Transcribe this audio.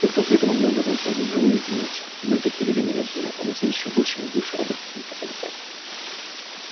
тех кто при этом умел вернуться назад живым единицы и были такие люди на вес золота они ценились ещё больше чем бывшие работники метрополитена